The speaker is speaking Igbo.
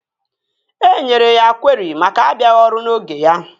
E nyere ya kweri maka abịaghị ọrụ n'oge ya